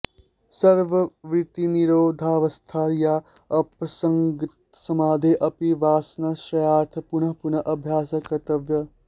सर्ववृत्तिनिरोधावस्थायाः असंप्रज्ञातसमाधेः अपि वासनाक्षयार्थं पुनः पुनः अभ्यासः कर्तव्यः